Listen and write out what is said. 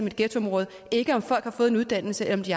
et ghettoområde ikke om folk har fået en uddannelse eller om de